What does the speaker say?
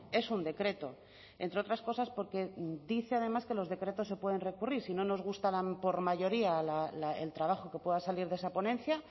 es un decreto entre otras cosas porque dice además que los decretos se pueden recurrir si no nos gustaran por mayoría el trabajo que pueda salir de esa ponencia